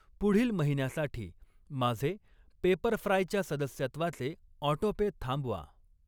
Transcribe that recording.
पुढील महिन्यासाठी माझे पेपरफ्राय च्या सदस्यत्वाचे ऑटोपे थांबवा.